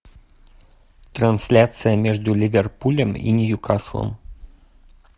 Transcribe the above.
трансляция между ливерпулем и ньюкаслом